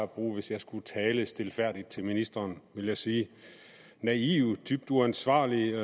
bruge hvis jeg skulle tale stilfærdigt til ministeren vil jeg sige naive dybt uansvarlige